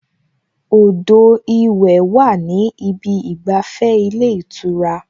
Odò ìwẹ̀ wà ní ìbi ìgbàfẹ́ ilé ìtura